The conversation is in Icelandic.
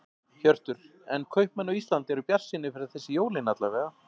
Hjörtur: En kaupmenn á Íslandi eru bjartsýnir fyrir þessi jólin alla vega?